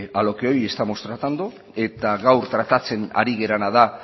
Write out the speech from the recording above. a lo que hoy estamos tratando eta gaur tratatzen ari garena da